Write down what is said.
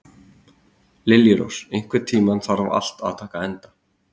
Liljurós, einhvern tímann þarf allt að taka enda.